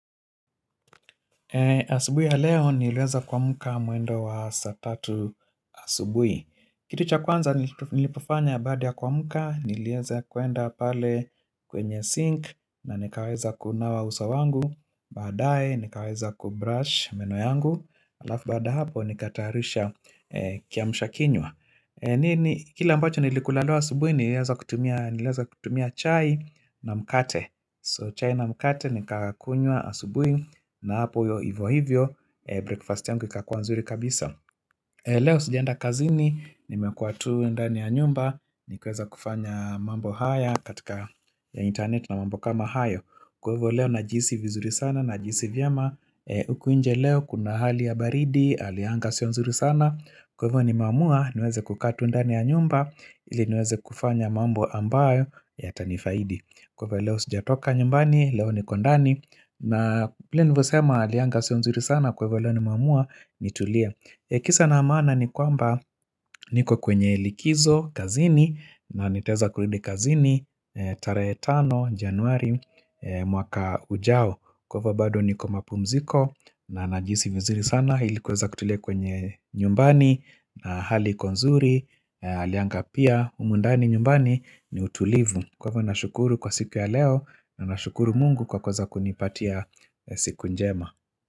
Asubuhi ya leo niliweza kuamka mwendo wa saa tatu asubuhi Kitu cha kwanza nilipofanya baada ya kuamka nilieza kuenda pale kwenye sink na nikaweza kunawa uso wangu baadaye nikaweza kubrush meno yangu alafu baada ya hapo nikatayarisha kiamsha kinywa nini Kila ambacho nilikula leo asubuhi nilieza kutumia nilieza kutumia chai na mkate So chai na mkate nikakunywa asubuhi na hapo hivo hivyo breakfast yangu ikakuwa nzuri kabisa Leo sijaenda kazini nimekuwa tu ndani ya nyumba nikaweza kufanya mambo haya katika ya internet na mambo kama hayo Kwa hivo leo najihisi vizuri sana najihisi vyema huku nje leo kuna hali ya baridi hali ya anga sio nzuri sana Kwa ivo nimeamua niweze kukaa tu ndani ya nyumba ili niweze kufanya mambo ambayo yatanifaidi kwamba leo sijatoka nyumbani, leo niko ndani na vile nilivosema hali ya anga sio nzuri sana kwa hivo leo nimeamua nitulie Kisa na maana ni kwamba niko kwenye likizo kazini na nitaeza kurudi kazini tarahe tano januari mwaka ujao kwamba bado niko mapumziko na najihisi vizuri sana ili kuweza kutulia kwenye nyumbani na hali iko nzuri hali ya anga pia humu ndani nyumbani ni utulivu kwamba nashukuru kwa siku ya leo na nashukuru mungu kwa kuweza kunipatia siku njema.